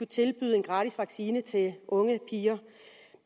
tilbyde en gratis vaccine til unge piger